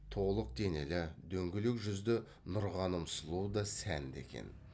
толық денелі дөңгелек жүзді нұрғаным сұлу да сәнді екен